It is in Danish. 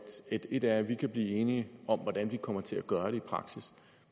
ét er at vi kan blive enige om hvordan vi kommer til at gøre det i praksis